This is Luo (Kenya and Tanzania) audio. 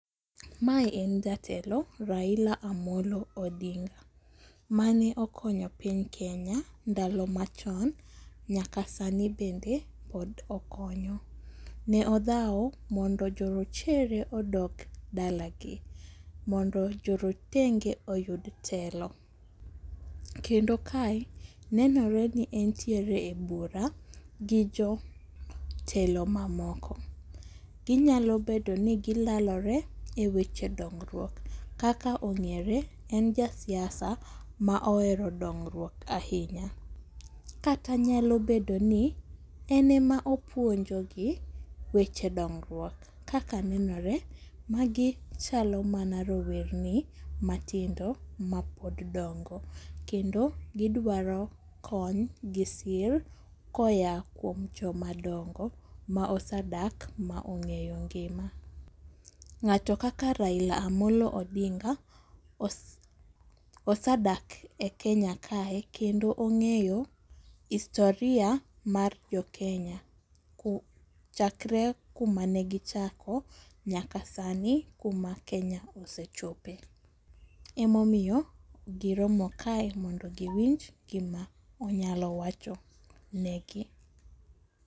Mae en jatelo Raila Amollo Odinga, mane okonyo piny Kenya ndalo machon nyaka sani bende pod okonyo. Ne odhawo mondo jorochere odog dalagi, mondo jorotenge oyud telo. Kendo kae nenore ni entiere e bura gi jotelo mamoko. Ginyalo bedo ni gilalore e weche dongruok, kaka ong'ere en jasiasa ma ohero dongruok ahinya. Kata nyalo bedo ni en ema opuonjogi weche dongruok. Kaka nenore, magi chalo mana rowerni matindo mapod dongo, kendo gidwaro kony gi sir koya kuom jomadongo ma osedak ma ong'eyo ngima. Ng'ato kaka Raila Amollo Odinga osedak e Kenya kae kendo ong'eyo historia mar jokenya chakre kuma ne gichako nyaka sani kuma Kenya osechope. Emomiyo giromo kae mondo giwinj gima onyalo wacho negi.